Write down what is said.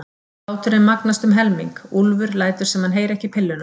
Hláturinn magnast um helming, Úlfur lætur sem hann heyri ekki pilluna.